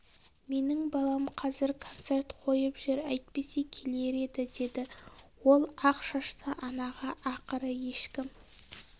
менің балам қазір концерт қойып жүр әйтпесе келер еді деді ол ақ шашты анаға ақыры ешкім